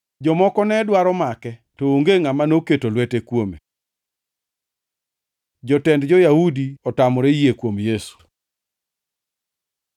Jomoko ne dwaro make, to onge ngʼama noketo lwete kuome. Jotend jo-Yahudi otamore yie kuom Yesu